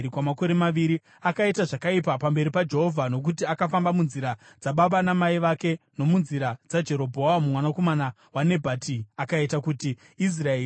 Akaita zvakaipa pamberi paJehovha nokuti akafamba munzira dzababa namai vake nomunzira dzaJerobhoamu mwanakomana waNebhati, akaita kuti Israeri iite chivi.